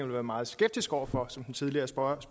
være meget skeptisk over for som den tidligere spørger